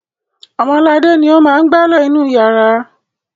Ọmọladé ni ó máa ń gbálẹ̀ inú ìyàrá.